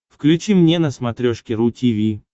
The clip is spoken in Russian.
включи мне на смотрешке ру ти ви